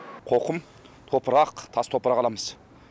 қоқым топырақ тас топырақ аламыз